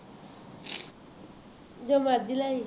ਜੋ ਮਰਜ਼ੀ ਲੈ ਆਈਂ